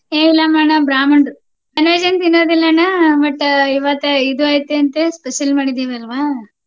ಏ ಇಲ್ಲ ಅಣ್ಣ ಬ್ರಾಹ್ಮಣರು non-veg ಏನು ತಿನ್ನೋದಿಲ್ಲ ಅಣ್ಣ but ಇವತ್ತು ಇದು ಐತಿ ಅಂತೇಳಿ special ಮಾಡಿದಿವಿ ಅಲ್ವಾ?